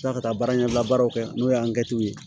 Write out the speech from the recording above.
Taa ka taa baara ɲɛbila baaraw kɛ n'o ye ye